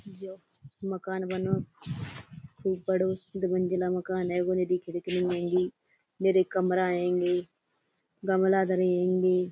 जौ मकान बनो खूब बड़ो दू मंजिला मकान हेगो कमरा हेंगी गमला धरे हेंगी।